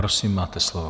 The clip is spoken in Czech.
Prosím, máte slovo.